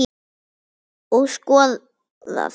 Og skoðað.